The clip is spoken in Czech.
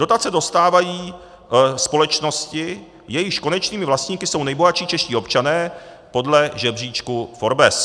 Dotace dostávají společnosti, jejichž konečnými vlastníky jsou nejbohatší čeští občané podle žebříčku Forbes.